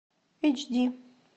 эйч ди